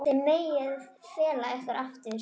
Þið megið fela ykkur aftur.